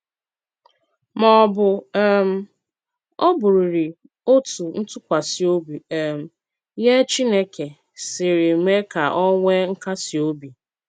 Ma ọ̀ bụ́ um ọ̀bụ̀rị́rị́ otú ntúkwasị obi um nye Chineke siri mee ka ọ nwee nkasi obi!